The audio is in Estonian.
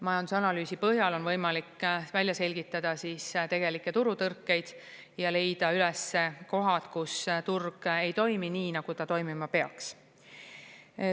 Majandusanalüüsi põhjal on võimalik välja selgitada tegelikke turutõrkeid ja leida üles kohad, kus turg ei toimi nii, nagu ta toimima peaks.